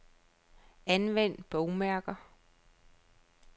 Anvend bogmærker.